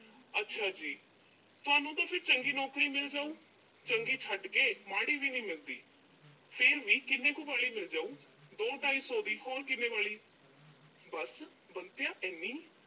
ਅੱਛਾ ਜੀ। ਤੁਹਾਨੂੰ ਤਾਂ ਫਿਰ ਚੰਗੀ ਨੌਕਰੀ ਮਿਲ ਜਾਊ। ਚੰਗੀ ਛੱਡ, ਮਾੜੀ ਵੀ ਨੀਂ ਮਿਲਦੀ। ਫਿਰ ਵੀ ਕਿੰਨ ਕੁ ਵਾਲੀ ਮਿਲ ਜਾਊ? ਦੋ-ਢਾਈ ਸੌ ਦੀ, ਹੋਰ ਕਿੰਨੇ ਵਾਲੀ। ਬੱਸ, ਬੰਤਿਆ ਇੰਨੀ?